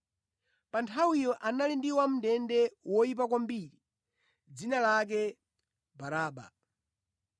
Pa nthawiyo anali ndi wamʼndende woyipa kwambiri dzina lake Baraba.